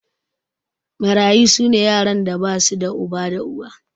Mararyu su ne yaran da ba su da uba da uwa.